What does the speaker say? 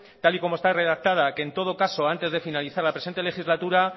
tal y como está redactada que en todo caso antes de finalizar la presente legislatura